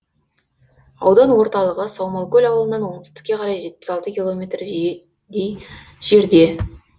аудан орталығы саумалкөл ауылынан оңтүстікке қарай жетпіс алты километрдей жерде